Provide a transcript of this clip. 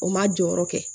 O ma jɔyɔrɔ kɛ